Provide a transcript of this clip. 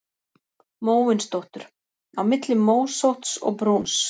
Móvindóttur: Á milli mósótts og brúns.